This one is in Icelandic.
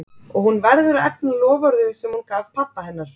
Og hún verður að efna loforðið sem hún gaf pabba hennar.